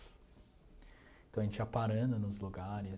Então a gente ia parando nos lugares.